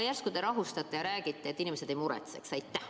Järsku te rahustate inimesi ja ütlete, et nad ei muretseks?